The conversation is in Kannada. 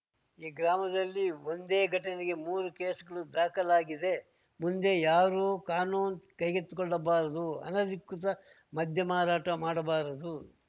ಈ ಗ್ರಾಮದಲ್ಲಿ ಒಂದೇ ಘಟನೆಗೆ ಮೂರು ಕೇಸ್‌ಗಳು ದಾಖಲಾಗಿದೆ ಮುಂದೆ ಯಾರೂ ಕಾನೂನು ಕೈಗೆತ್ತಿಕೊಳ್ಳಬಾರದು ಅನಧಿಕೃತ ಮದ್ಯ ಮಾರಾಟ ಮಾಡಬಾರದು